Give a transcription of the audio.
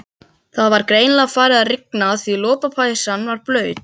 Það var greinilega farið að rigna því lopapeysan var blaut.